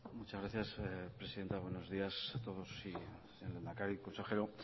muchas gracias presidenta buenos días a todos lehendakari consejero